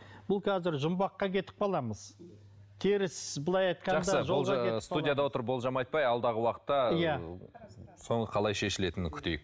бұл қазір жұмбаққа кетіп қаламыз теріс былай студияда отырып болжам айтпай алдағы уақытта соның қалай шешілетінін күтейік